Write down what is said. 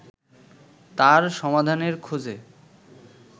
তার সমাধানের খোঁজে